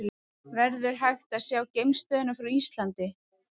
Verður hægt að sjá geimstöðina frá Íslandi?